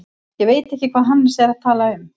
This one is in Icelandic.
Ég veit ekki hvað Hannes er að tala um.